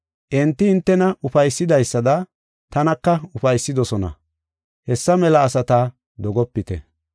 Enti hintena ufaysidaysada tanaka ufaysidosona. Hessa mela asata dogopite.